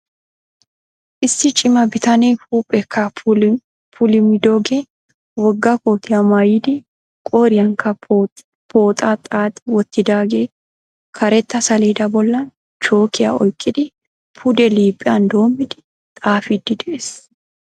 Issi cima bitanee huupheekka puulumidoogee wogga kootiya maayidi qooriyankka pooxaa xaaxi wottidaagee karetta saleeda boollan chookkiya oyqqidi pude liiphiyan doommidi xaafiiddi de'ees.